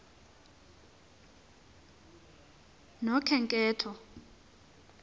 nokhenketho